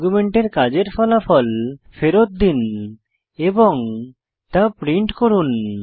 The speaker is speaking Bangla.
আর্গুমেন্টে কাজের ফলাফল ফেরত দিন এবং তা প্রিন্ট করুন